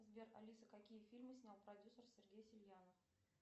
сбер алиса какие фильмы снял продюсер сергей сельянов